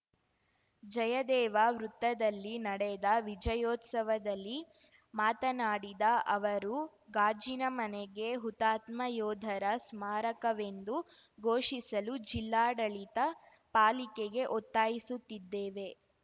ಜಯದೇವ ವೃತ್ತದಲ್ಲಿ ನಡೆದ ವಿಜಯೋತ್ಸವದಲ್ಲಿ ಮಾತನಾಡಿದ ಅವರು ಗಾಜಿನ ಮನೆಗೆ ಹುತಾತ್ಮ ಯೋಧರ ಸ್ಮಾರಕವೆಂದು ಘೋಷಿಸಲು ಜಿಲ್ಲಾಡಳಿತ ಪಾಲಿಕೆಗೆ ಒತ್ತಾಯಿಸುತ್ತಿದ್ದೇವೆ